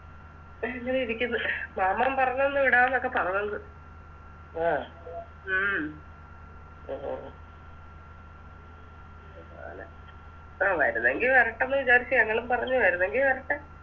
അങ്ങനെയിരിക്ക്ന്ന് മാമൻ പറഞ്ഞെന്ന് വിടാണെങ്കി വിടവാന്നൊക്കെ പറഞ്ഞെന്ന് ഉം ആ വരുന്നെങ്കി വരട്ടേന്ന് വിചാരിച്ച് വരുന്നെങ്കി വരട്ടെ